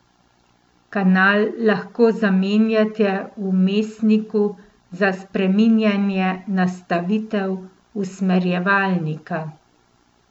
Kanal lahko zamenjate v vmesniku za spreminjanje nastavitev usmerjevalnika.